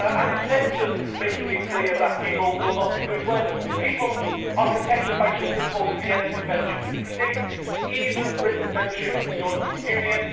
In terms of making it clear that people will not be moved, people are protected by something called the Vienna Convention, which predates even Britain's membership of the European Union.